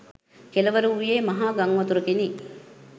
කෙළවර වූයේ මහා ගංවතුරකිනි.